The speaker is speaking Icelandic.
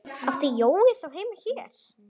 Átti Jói þá heima hér?